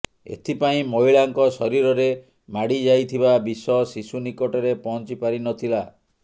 ଏଥିପାଇଁ ମହିଳାଙ୍କ ଶରୀରରେ ମାଡି ଯାଇଥିବା ବିଷ ଶିଶୁ ନିକଟରେ ପହଞ୍ଚି ପାରି ନ ଥିଲା